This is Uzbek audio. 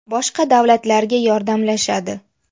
Boshqa davlatlarga yordamlashadi.